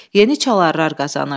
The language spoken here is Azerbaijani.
Yeni çalarar qazanırdı.